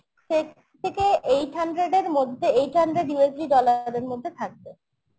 six থেকে eight hundred মধ্যে, eight hundred USD dollar এর মধ্যে থাকবে